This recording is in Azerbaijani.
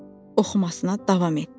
Oxumasına davam etdi.